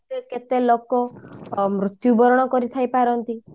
କେତେ କେତେ ଲୋକ ମୃତ୍ୟୁ ବରଣ କରିଥାଇ ପାରନ୍ତି